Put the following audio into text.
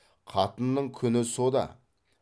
қатынның күні со да